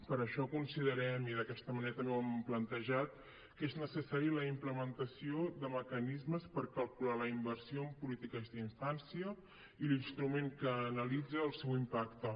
per això considerem i d’aquesta manera també ho hem plantejat que és necessària la implementació de mecanismes per calcular la inversió en polítiques d’infància i l’instrument que analitza el seu impac te